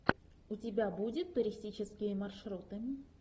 у тебя будет туристические маршруты